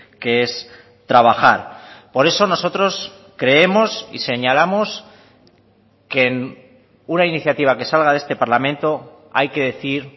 que es trabajar por eso nosotros creemos y señalamos que una iniciativa que salga de este parlamento hay que decir